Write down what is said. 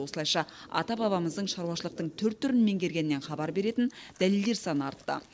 осылайша ата бабамыздың шаруашылықтың түр түрін меңгергенінен хабар беретін дәлелдер саны артты